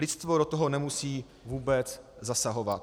Lidstvo do toho nemusí vůbec zasahovat.